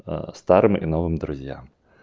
а старым и новым друзьям